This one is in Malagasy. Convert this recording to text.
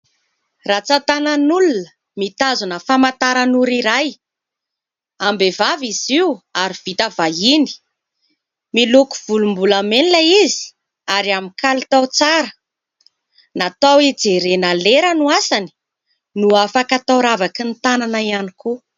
Rantsan-tanan'olona mitazona famantaran'ora iray. Am-behivavy izy io ary vita vahiny, miloko volombolamena izy ary amin'ny kalitao tsara, natao ijerena lera no asany no afaka atao ravakin'ny tanana ihany koa.